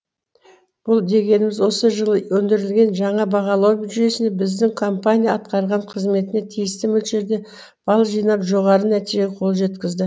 бұл дегеніміз осы жылы ендірілген жаңа бағалау жүйесіне біздің компания атқарған қызметіне тиісті мөлшерде бал жинап жоғары нәтижеге қол жеткізді